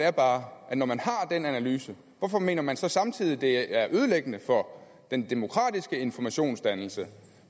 er bare at når man har den analyse hvorfor mener man så samtidig at det er ødelæggende for den demokratiske informationsdannelse